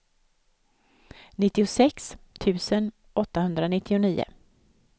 nittiosex tusen åttahundranittionio